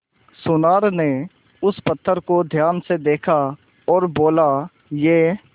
सुनार ने उस पत्थर को ध्यान से देखा और बोला ये